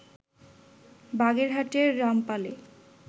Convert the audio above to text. বাগেরহাটের রামপালে